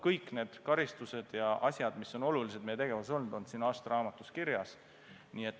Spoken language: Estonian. Kõik need karistused ja muud asjad, mis on meie tegevuses olulised olnud, on siin aastaraamatus kirjas.